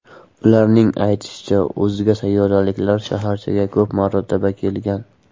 Ularning aytishicha, o‘zga sayyoraliklar shaharchaga ko‘p marta kelgan.